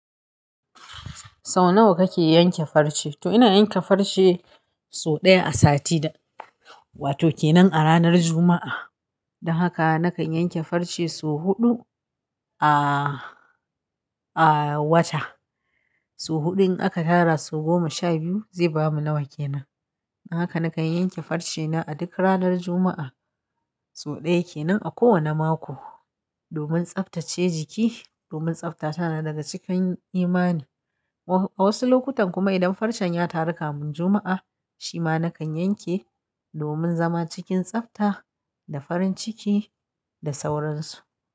Sau nawa kake yanke farce? To ina yanke farce sau ɗaya a sati da, wato ke nan a ranar Juma'a. Don haka nakan yanke farce sau huɗu a, a wata. Sau huɗun aka tara su goma sha biyu zai bamu nawa ke nan. Don haka nakan yanke farce na a duk ranar Juma'a. Sau ɗaya ke nan a kowane mako domin tsaftace jiki, domin tsafta na daga cikin imani. A wasu lokutan kuma idan farcen ya taru kamin Juma'a, shi ma nakan yanke domin zama cikin tsafta da farin ciki da sauransu.